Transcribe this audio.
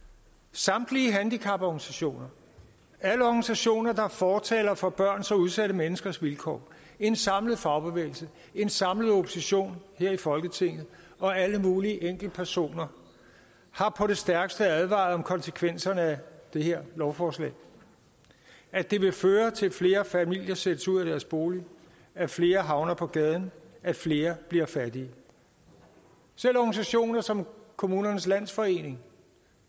samtlige handicaporganisationer alle organisationer der er fortalere for børns og udsatte menneskers vilkår en samlet fagbevægelse en samlet opposition her i folketinget og alle mulige enkeltpersoner har på det stærkeste advaret om konsekvenserne af det her lovforslag at det vil føre til at flere familier sættes ud af deres bolig at flere havner på gaden at flere bliver fattige selv organisationer som kommunernes landsforening